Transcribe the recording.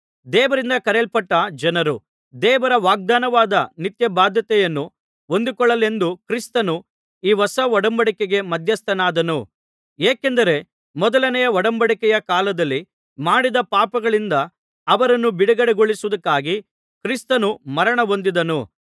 ದೇವರಿಂದ ಕರೆಯಲ್ಪಟ್ಟ ಜನರು ದೇವರ ವಾಗ್ದಾನವಾದ ನಿತ್ಯಬಾಧ್ಯತೆಯನ್ನು ಹೊಂದಿಕೊಳ್ಳಲೆಂದು ಕ್ರಿಸ್ತನು ಈ ಹೊಸ ಒಡಂಬಡಿಕೆಗೆ ಮಧ್ಯಸ್ಥನಾದನು ಏಕೆಂದರೆ ಮೊದಲನೆ ಒಡಂಬಡಿಕೆಯ ಕಾಲದಲ್ಲಿ ಮಾಡಿದ ಪಾಪಗಳಿಂದ ಅವರನ್ನು ಬಿಡುಗಡೆಗೊಳಿಸುವುದಕ್ಕಾಗಿ ಕ್ರಿಸ್ತನು ಮರಣ ಹೊಂದಿದನು